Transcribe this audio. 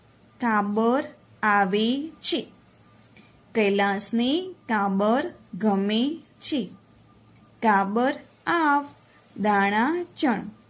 કાબર આવે છે કૈલાશને કાબર ગમેછે કાબર આવ દાણા ચણ